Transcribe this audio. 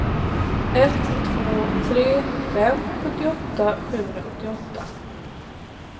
ett två tre fem sjuttioåtta sjuhundrasjuttioåtta